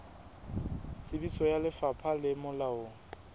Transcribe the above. tsebiso ya lefapha le molaong